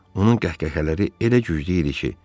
Onun qəhqəhələri elə güclü idi ki,